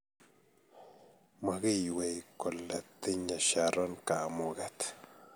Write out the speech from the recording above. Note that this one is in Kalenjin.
Maginywei kole tinyei Sharon kamuget